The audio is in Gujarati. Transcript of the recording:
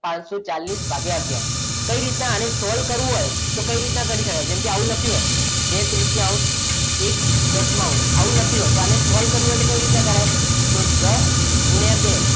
પચસો ચાલીસ ભાગ્ય આગયાર કઈ રીતના આને solve કરવું હોય તો કઈ રીતના કરી શકાય તો આવું લખ્યું હોય બે તૃતીયાંશ એક દસ આવું લખ્યું હોય તો આને solve કરવો હોય તો કરી ન કરાય તો દસ ગુણ્યા બે